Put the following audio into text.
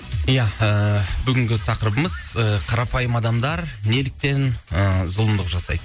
ия ыыы бүгінгі тақырыбымыз қарапайым адамдар неліктен ы зұлымдық жасайды